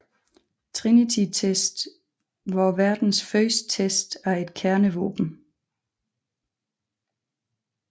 Trinitytesten var verdens første test af et kernevåben